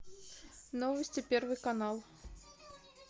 новости первый канал